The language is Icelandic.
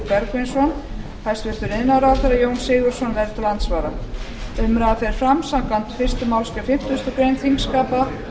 bergvinsson hæstvirtur iðnaðarráðherra jón sigurðsson verður til andsvara umræðan fer fram samkvæmt fyrstu málsgrein fimmtugustu grein þingskapa og